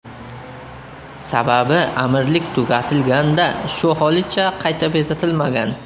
Sababi amirlik tugatilganda shu holicha qayta bezatilmagan.